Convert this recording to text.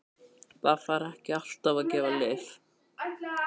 Það þarf ekki alltaf að gefa lyf.